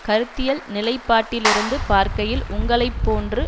கருத்தியல் நிலைப்பாட்டிலிருந்து பார்க்கையில் உங்களை போன்று